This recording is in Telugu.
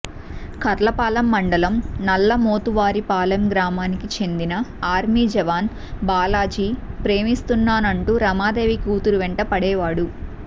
కర్లపాలెం మండలం నల్లమోతువారిపాలెం గ్రామానికి చెందిన ఆర్మీ జవాన్ బాలాజీ ప్రేమిస్తున్నానంటూ రమాదేవి కూతురు వెంట పడేవాడు